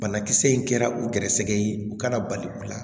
Banakisɛ in kɛra u gɛrɛsɛgɛ ye u kana bali u la